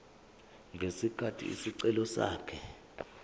ngesikhathi isicelo sakhe